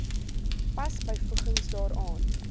pas byvoegings daaraan